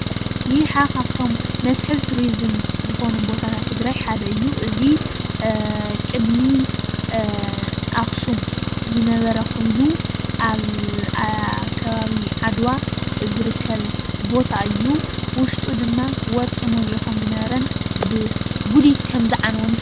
ይሓ ካብቶም መስሕብ ቱሪዙም ዝኾኑ ቦታታት ትግራይ ሓደ እዩ። እዚ ቅድሚ ኣኽሱም ዝነበረ ኾይኑ ኣብ ከባቢ ዓድዋ ዝርከብ ቦታ እዩ። ውሽጡ ድማ ወርቂ መሊኡ ከም ዝነበረን ብጉዲት ከም ዝዓነወን እውን ይፍለጥ።